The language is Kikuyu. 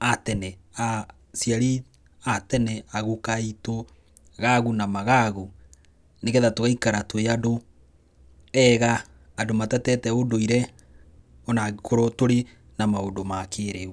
a tene, aciaria a tene, a guka aitũ, gagu na magagu. Nĩgetha tũgaikara tũrĩ andũ ega, andũ matatete ũndũire ona akorwo tũrĩ na maũndũ ma kĩrĩu.